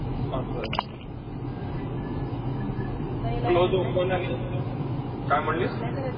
असं. closed open आणि काय म्हणलीस?